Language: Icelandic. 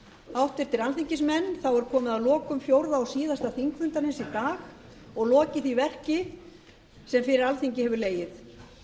háttvirtir alþingismenn þá er komið að lokum fjórða og síðasta þingfundarins í dag og lokið því verki sem fyrir alþingi hefur legið